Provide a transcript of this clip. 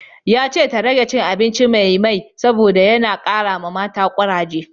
Yace ta rage cin abinci mai mai saboda yana kara mata kuraje